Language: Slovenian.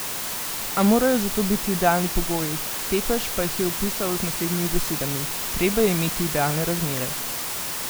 A morajo za to biti idealni pogoji, Tepeš pa jih je opisal z naslednjimi besedami: 'Treba je imeti idealne razmere.